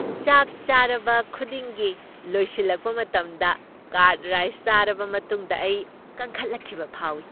ꯆꯥꯛ ꯆꯥꯔꯕ ꯈꯨꯗꯤꯡꯒꯤ ꯂꯣꯏꯁꯤꯜꯂꯛꯄ ꯃꯇꯝꯗ ꯀꯔ꯭ꯗ ꯔꯥꯏꯁ ꯆꯥꯔꯕ ꯃꯇꯨꯡꯗ ꯑꯩ ꯀꯟꯈꯠꯂꯛꯈꯤꯕ ꯐꯥꯎꯏ ꯫